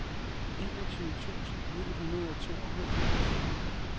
enogtyve tusind ni hundrede og tooghalvfjerds